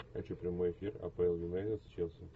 хочу прямой эфир апл юнайтед с челси